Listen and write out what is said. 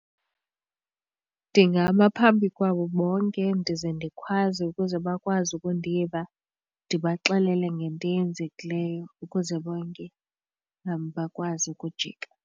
Ndingama phambi kwabo bonke ndize ndikhwaze ukuze bakwazi ukundiva ndibaxelele ngento eyenzekileyo ukuze bonke bakwazi ukujika.